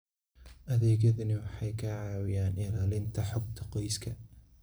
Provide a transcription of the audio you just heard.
Adeegyadani waxay ka caawiyaan ilaalinta xogta qoyska.